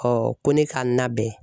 ko ne ka n nabɛn.